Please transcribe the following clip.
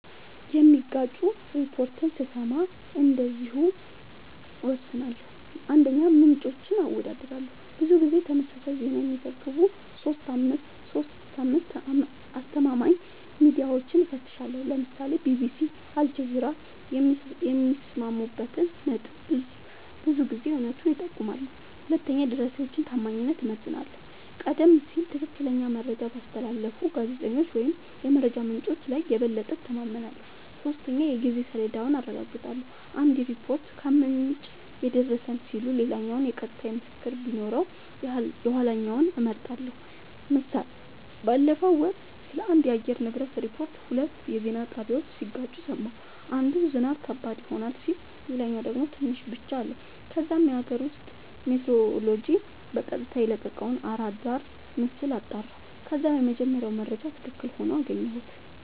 የሚጋጩ ሪፖርቶችን ስሰማ እንደዚህ እወስናለሁ :- 1, ምንጮችን አወዳድራለሁ :-ብዙ ጊዜ ተመሳሳይ ዜና የሚዘግቡ 3-5አስተማማኝ ሚድያወችን እፈትሻለሁ ( ለምሳሌ ቢቢሲ አልጀዚራ )የሚስማሙበት ነጥብ ብዙ ጊዜ እውነቱን ይጠቁማል 2 የደራሲወችን ታማኝነት እመዝናለሁ :-ቀደም ሲል ትክክለኛ መረጃ ባስተላለፉ ጋዜጠኞች ወይም የመረጃ ምንጮች ላይ የበለጠ እተማመናለሁ። 3 የጊዜ ሰሌዳውን አረጋግጣለሁ :- አንድ ሪፖርት "ከምንጭ የደረሰን" ሲል ሌላኛው የቀጥታ ምስክር ቢኖረው የኋለኛውን እመርጣለሁ ## ምሳሌ ባለፈው ወር ስለአንድ የአየር ንብረት ሪፖርት ሁለት የዜና ጣቢያወች ሲጋጩ ሰማሁ። አንዱ "ዝናብ ከባድ ይሆናል " ሲል ሌላኛው ደግሞ "ትንሽ ብቻ " አለ። ከዛም የአገር ውስጥ ሜትሮሎጅ በቀጥታ የለቀቀውን አራዳር ምስል አጣራሁ ከዛም የመጀመሪያው መረጃ ትክክል ሆኖ አገኘሁት